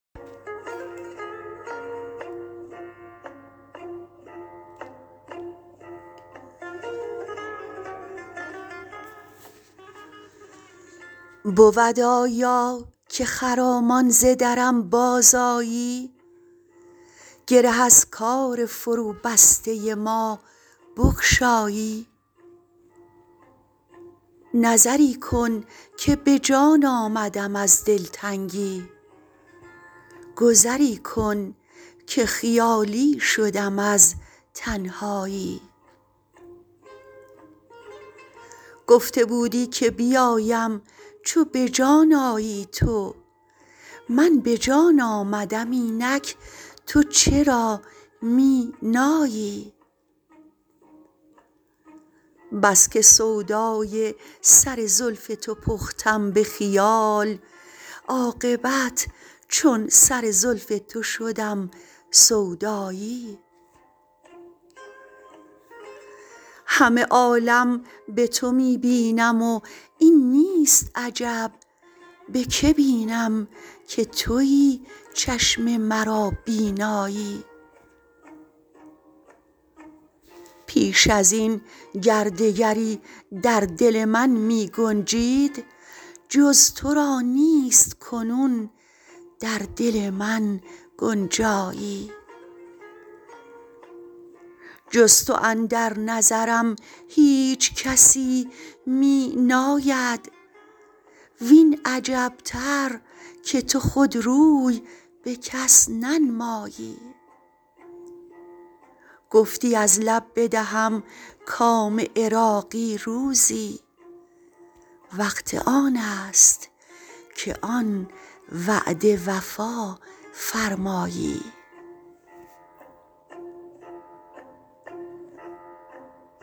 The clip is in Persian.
بود آیا که خرامان ز درم بازآیی گره از کار فروبسته ما بگشایی نظری کن که به جان آمدم از دلتنگی گذری کن که خیالی شدم از تنهایی گفته بودی که بیایم چو به جان آیی تو من به جان آمدم اینک تو چرا می نایی بس که سودای سر زلف تو پختم به خیال عاقبت چون سر زلف تو شدم سودایی همه عالم به تو می بینم و این نیست عجب به که بینم که تویی چشم مرا بینایی پیش ازین گر دگری در دل من می گنجید جز تو را نیست کنون در دل من گنجایی جز تو اندر نظرم هیچ کسی می ناید وین عجبتر که تو خود روی به کس ننمایی گفتی از لب بدهم کام عراقی روزی وقت آن است که آن وعده وفا فرمایی